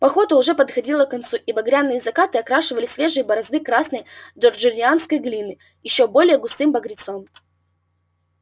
пахота уже подходила к концу и багряные закаты окрашивали свежие борозды красной джорджианской глины ещё более густым багрецом